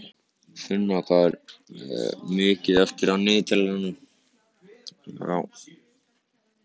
Finna, hvað er mikið eftir af niðurteljaranum?